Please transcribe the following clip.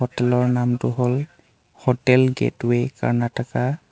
হোটেলৰ নামটো হ'ল হোটেল গেট ৱে কৰ্ণাটকা ।